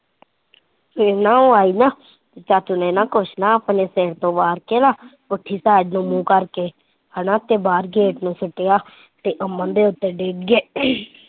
ਫਿਰ ਉਹ ਆਈ ਨਾ ਚਾਚੂ ਨੇ ਕੁਝ ਨਾ ਆਪਣੇ ਸਿਰ ਤੋਂ ਵਾਰ ਕੇ ਨਾ ਮੂੰਹ ਕਰਕੇ ਹੇਨਾ ਤੇ ਬਾਹਰ ਗੇਟ ਨੂੰ ਸੁੱਟਿਆ ਤੇ ਅਮਨ ਤੇ ਉੱਤੇ ਡਿੱਗ ਗਏ।